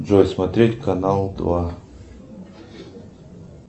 джой смотреть канал два